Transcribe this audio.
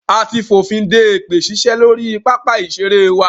A ti fònfin de èpè ṣíṣe lórí pápá ìṣeré wa.